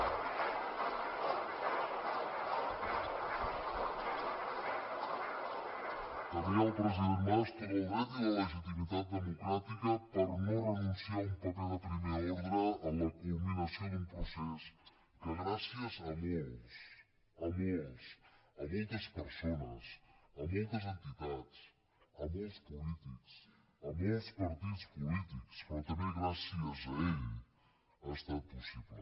tenia el president mas tot el dret i la legitimitat democràtica per no renunciar a un paper de primer ordre en la culminació d’un procés que gràcies a molts a molts a moltes persones a moltes entitats a molts polítics a molts partits polítics però també gràcies a ell ha estat possible